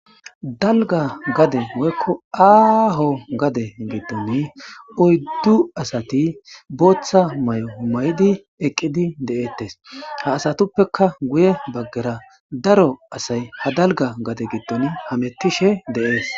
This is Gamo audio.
dalga gade woykko aaho gade giddon oyddu asati booththa may7o humay7idi eqqidi de7eettes ha asatuppeka guye baggera daro asay ha dalga gade giddon hametishe deees